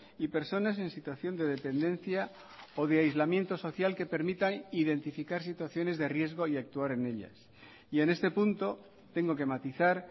y personas en situación de dependencia o de aislamiento social que permita identificar situaciones de riesgo y actuar en ellas y en este punto tengo que matizar